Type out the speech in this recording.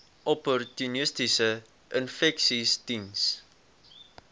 opportunistiese infeksies diens